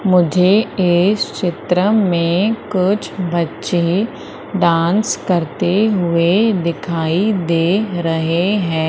मुझे इस चित्र मे कुछ बच्चे डांस करते हुए दिखाई दे रहे है।